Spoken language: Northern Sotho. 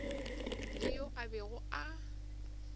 le yo a bego a